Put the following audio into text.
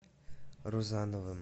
рузановым